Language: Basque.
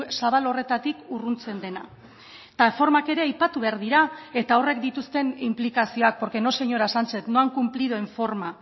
zabal horretatik urruntzen dena eta formak ere aipatu behar dira eta horrek dituzten inplikazioak porque no señora sánchez no han cumplido en forma